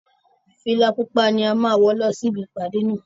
Fìlà pupa ni a máa wọ lọ sí ibi ìpàdé náà